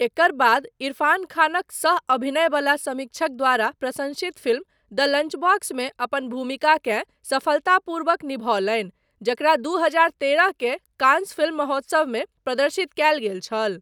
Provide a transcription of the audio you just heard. एकर बाद इरफ़ान खानक सह अभिनय वला समीक्षक द्वारा प्रशंसित फिल्म द लंचबॉक्समे अपन भूमिकाकेँ सफलतापूर्वक निभौलनि, जकरा दू हजार तेरह के कांस फिल्म महोत्सवमे प्रदर्शित कयल गेल छल।